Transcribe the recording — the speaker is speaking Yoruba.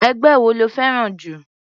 Ẹgbẹ́ wo lo fẹ́ràn jù?